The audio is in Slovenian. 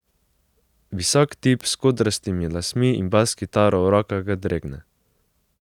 Visok tip s kodrastimi lasmi in bas kitaro v rokah ga dregne.